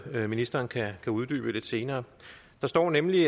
noget ministeren kan uddybe lidt senere der står nemlig